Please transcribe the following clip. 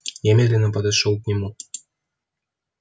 я медленно подошёл к нему